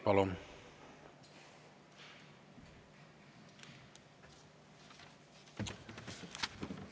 Palun!